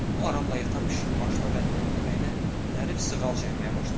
O aramla yatan pişiyin başına və kürəyinə zərif sığal çəkməyə başladı.